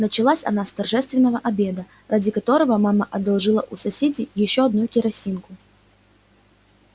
началась она с торжественного обеда ради которого мама одолжила у соседей ещё одну керосинку